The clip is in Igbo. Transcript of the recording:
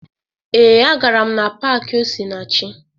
Ee, agara m na paakị Osinachi